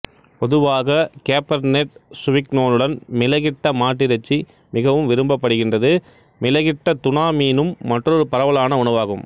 பொதுவாக கெபேர்னெட் சுவிக்னோனுடன் மிளகிட்ட மாட்டிறைச்சி மிகவும் விரும்பப்படுகின்றது மிளகிட்ட துனா மீனும் மற்றொரு பரவலான உணவாகும்